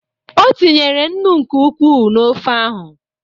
O tinyere nnu nke ukwuu na ofe ahụ.